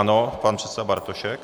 Ano, pan předseda Bartošek.